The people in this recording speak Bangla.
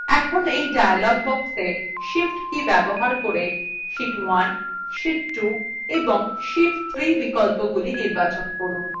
এখন এই dialog boxwe shift key ব্যবহার করে sheet 1 sheet 2 এবং sheet 3 বিকল্পগুলি নির্বাচন করুন